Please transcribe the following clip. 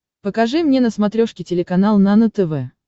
покажи мне на смотрешке телеканал нано тв